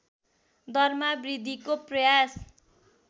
दरमा वृद्धिको प्रयास